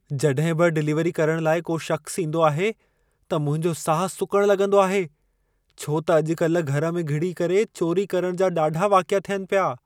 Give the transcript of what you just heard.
जॾहिं बि डिलीवरी करण लाइ को शख़्सु ईंदो आहे, त मुंहिंजो साहु सुकण लॻंदो आहे, छो त अॼु-कल घर में घिड़ी करे चौरी करण जा ॾाढा वाक़िया थियनि पिया!